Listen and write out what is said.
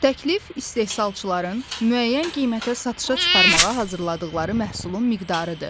Təklif istehsalçıların müəyyən qiymətə satışa çıxarmağa hazırladıqları məhsulun miqdarıdır.